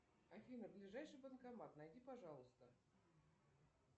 афина ближайший банкомат найди пожалуйста